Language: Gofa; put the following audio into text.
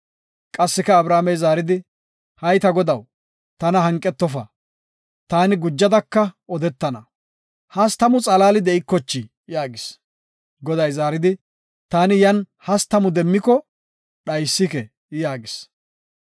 Qassika Abrahaamey zaaridi, “Hay ta Godaw, tana hanqetofa, taani gujadaka odetana. Hastamu xalaali de7ikochii?” yaagis. Goday zaaridi, “Taani yan hastamu demmiko dhaysike” yaagis.